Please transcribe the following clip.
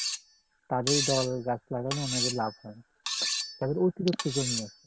তাদের দল গাছ লাগানো উনাদের লাভ হয় যাদের অতিরিক্ত জমি আছে